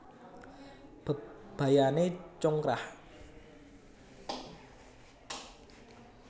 Bebayané congkrah